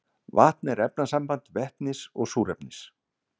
vatn er efnasamband vetnis og súrefnis